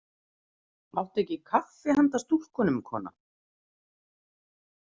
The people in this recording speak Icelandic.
Áttu ekki kaffi handa stúlkunum, kona?